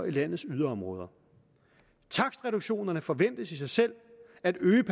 i landets yderområder takstreduktionerne forventes i sig selv at øge